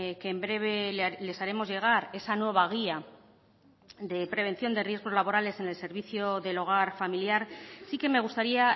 que en breve les haremos llegar esa nueva guía de prevención de riesgos laborales en el servicio del hogar familiar sí que me gustaría